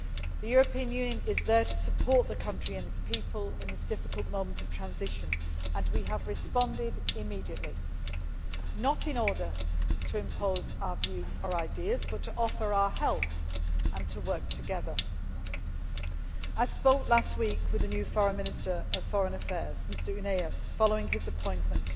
The European Union is there to support the country and its people at this difficult moment of transition, and we have responded immediately not in order to impose our views or ideas, but to offer our help and to work together. I spoke last week with the new Minister of Foreign Affairs, Mr Ounaies, following his appointment,